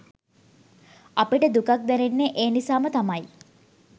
අපිට දුකක් දැනෙන්නේ ඒ නිසාම තමයි